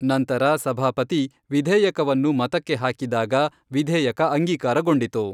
ನಂತರ ಸಭಾಪತಿ ವಿಧೇಯಕವನ್ನು ಮತಕ್ಕೆ ಹಾಕಿದಾಗ ವಿಧೇಯಕ ಅಂಗೀಕಾರಗೊಂಡಿತು.